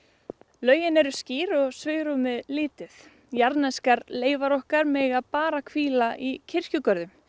lögin eru skýr og svigrúmið lítið jarðneskar leifar okkar mega bara hvíla í kirkjugörðum